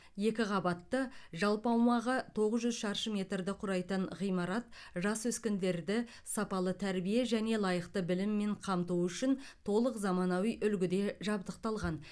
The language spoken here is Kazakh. екі қабатты жалпы аумағы тоғыз жүз шаршы метрді құрайтын ғимарат жас өскіндерді сапалы тәрбие және лайықты біліммен қамтуы үшін толық заманауи үлгіде жабдықталған